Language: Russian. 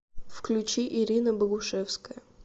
включи ирина богушевская